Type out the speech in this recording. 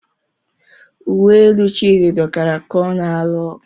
Uwe elu Chidi dọkara ka ọ na-alụ ọgụ.